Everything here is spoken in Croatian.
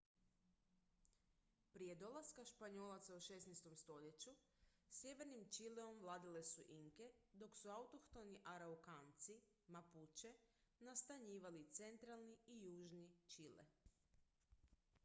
prije dolaska španjolaca u 16. stoljeću sjevernim čileom vladale su inke dok su autohtoni araukanci mapuče nastanjivali centralni i južni čile